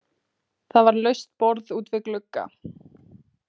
Það var laust borð út við glugga.